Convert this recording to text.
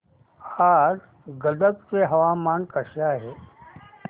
आज गदग चे हवामान कसे आहे